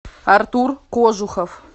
артур кожухов